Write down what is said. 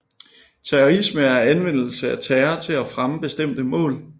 Terrorisme er anvendelsen af terror til at fremme bestemte mål